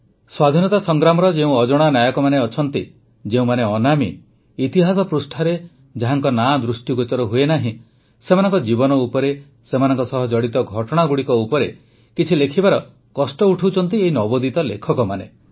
ସ୍ୱାଧୀନତା ସଂଗ୍ରାମର ଯେଉଁ ଅଜଣା ନାୟକମାନେ ଅଛନ୍ତି ଯେଉଁମାନେ ଅନାମୀ ଇତିହାସ ପୃଷ୍ଠାରେ ଯାହାଙ୍କ ନାଁ ଦୃଷ୍ଟିଗୋଚର ହୁଏନାହିଁ ସେମାନଙ୍କ ଜୀବନ ଉପରେ ସେମାନଙ୍କ ସହ ଜଡ଼ିତ ଘଟଣାଗୁଡ଼ିକ ଉପରେ କିଛି ଲେଖିବାର କଷ୍ଟ ଉଠାଉଛନ୍ତି ଏହି ନବୋଦିତ ଲେଖକମାନେ